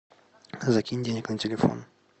закинь денег на телефон